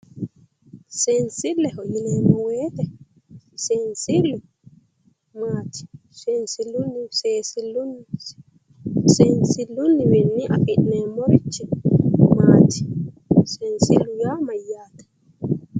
seensilleho yineemmowoyite seensillu maati? seensilluwiinni afi'neemmorichi maati? seensillu yaa mayyaate?